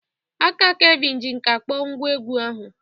Aka Kelvin ji nkà kpọọ ngwá egwú ahụ.